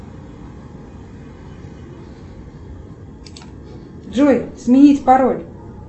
джой сменить пароль